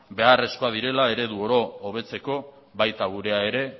beharrezkoak direla eredu oro hobetzeko baita gurea ere